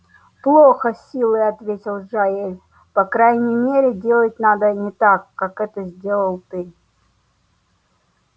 плохо с силой ответил джаэль по крайней мере делать надо не так как это сделал ты